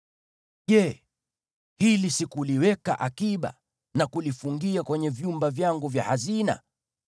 “Je, hili sikuliweka akiba na kulifungia kwenye vyumba vyangu vya hazina?